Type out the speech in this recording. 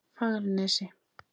Fagranesi